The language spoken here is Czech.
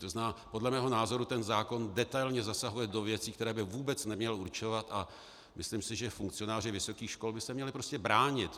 To znamená, podle mého názoru ten zákon detailně zasahuje do věcí, které by vůbec neměl určovat, a myslím si, že funkcionáři vysokých škol by se měli prostě bránit.